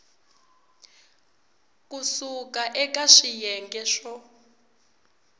ku suka eka swiyenge swo